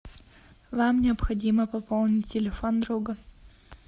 вам необходимо пополнить телефон друга